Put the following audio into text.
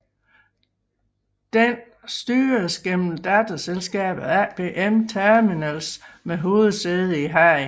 Denne styres gennem datterselskabet APM Terminals med hovedsæde i Haag